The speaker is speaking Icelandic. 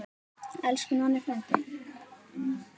Elsku Nonni frændi.